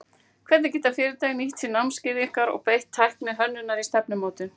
Hvernig geta fyrirtæki nýtt sér námskeið ykkar og beitt tækni hönnunar í stefnumótun?